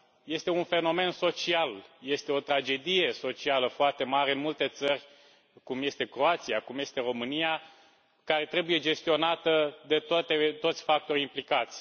Este un fenomen social, este o tragedie socială foarte mare în multe țări, cum este Croația, cum este România, care trebuie gestionată de toți factorii implicați.